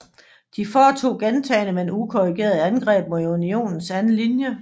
De foretog gentagne men ukoordinerede angreb mod Unionens anden linje